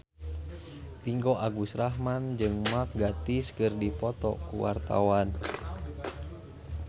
Ringgo Agus Rahman jeung Mark Gatiss keur dipoto ku wartawan